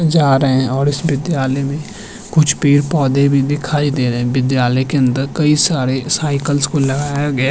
जा रहे हैं और इस विद्यालय में कुछ पेड़-पौधे भी दिखाई देरे हैं विद्यालय के अंदर कई सारे साइकल्स को लगाया गया --